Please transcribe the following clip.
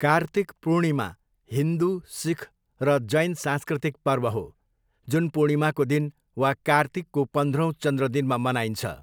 कार्तिक पूर्णिमा हिन्दु, सिख र जैन सांस्कृतिक पर्व हो, जुन पूर्णिमाको दिन वा कार्तिकको पन्ध्रौँ चन्द्र दिनमा मनाइन्छ।